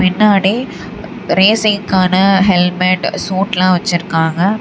பின்னாடி ரேசிங் காண ஹெல்மெட் சூட்லா வெச்சுருக்காங்க.